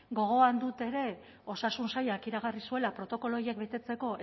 gogoan dut ere osasun sailak iragarri zuela protokolo horiek betetzeko